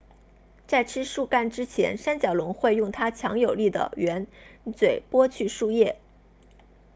在吃树干之前三角龙会用它强有力的喙嘴剥去树叶